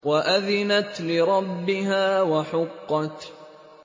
وَأَذِنَتْ لِرَبِّهَا وَحُقَّتْ